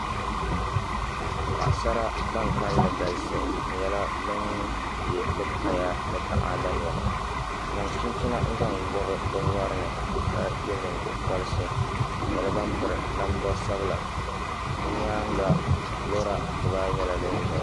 Paɣasara ban kanli galisi bi nyɛla bin yɛ bi kaya ni taada niɛma bi zaŋ chinchina n zaŋ gobi bi nyorini ka yɛ nyingokoriti bi nyɛla ban piri namda sabila bi nyaanga loori dibaayi nyɛla din ʒɛya